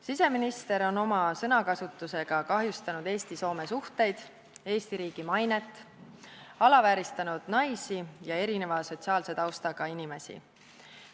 Siseminister on oma sõnakasutusega kahjustanud Eesti-Soome suhteid ja Eesti riigi mainet, alavääristanud naisi ja teistsuguse sotsiaalse taustaga inimesi.